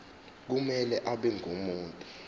kumele abe ngumuntu